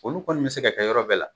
Olu kɔni be se ka kɛ yɔrɔ bɛɛ la